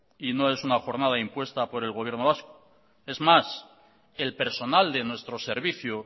y no es una jornada impuesta por el gobierno vasco es más el personal de nuestro servicio